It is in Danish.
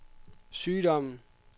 sygdommen